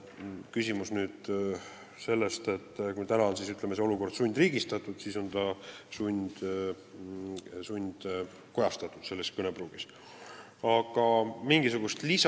Kui täna on see olukord, ütleme, sundriigistatud, siis seda kõnepruuki kasutades saab öelda, et see on sundkojastamine.